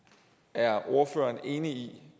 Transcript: er ordføreren enig